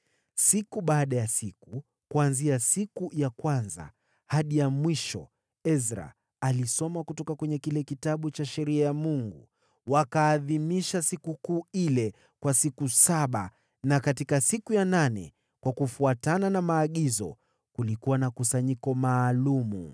Siku baada ya siku, kuanzia siku ya kwanza hadi ya mwisho, Ezra alisoma kutoka kwenye kile Kitabu cha Sheria ya Mungu. Wakaiadhimisha sikukuu ile kwa siku saba, nayo siku ya nane, kufuatana na maagizo, kulikuwa na kusanyiko maalum.